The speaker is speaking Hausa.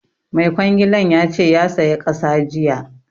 Mai kwangilan ya ce ya saya ƙasa jiya